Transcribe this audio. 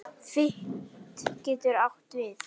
Fit getur átt við